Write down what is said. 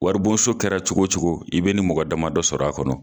Waribonso kɛra cogo cogo i bɛ nin mɔgɔ damadɔ sɔrɔ a kɔnɔ.